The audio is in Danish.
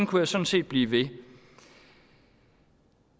kunne sådan set blive ved